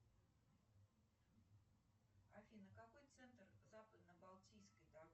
афина какой центр западно балтийской